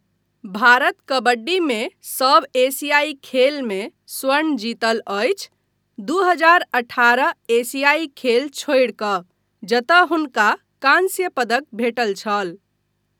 भारत कबड्डीमे सभ एशियाई खेलमे स्वर्ण जीतल अछि, दू हजार अठारह एशियाई खेल छोड़ि कऽ जतय हुनका काँस्य पदक भेटल छल।